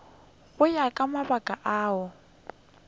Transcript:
go ya ka mabaka ao